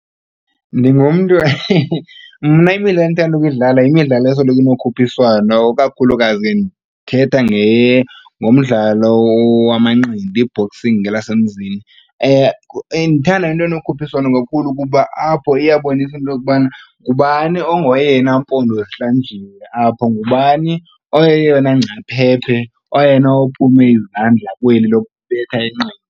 Ndingumntu mna imidlalo endithanda ukuyidlala yimidlalo esoloko inokhuphiswano kakhulukazi ndithetha ngomdlalo wamanqindi i-boxing ngelasemzini. Ndithanda into enokhuphiswano kakhulu kuba apho iyabonisa into yokubana ngubani ongoyena mpondozihlanjiwe apho, ngubani oyeyona ngcaphephe oyena ophume izandla kweli lokubetha inqindi.